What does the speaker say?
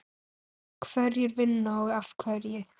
Hverjir vinna og af hverju?